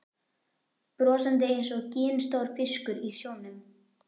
Brosandi einsog ginstór fiskur í sjónum.